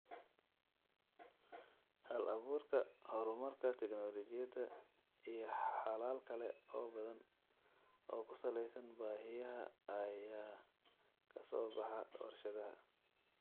Hal-abuurka, horumarka tignoolajiyada, iyo xalal kale oo badan oo ku saleysan baahiyaha ayaa ka soo baxa warshadaha.